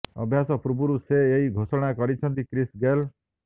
ଅଭ୍ୟାସ ପୂର୍ବରୁ ସେ ଏହି ଘୋଷଣା କରିଛନ୍ତି କ୍ରିସ ଗେଲ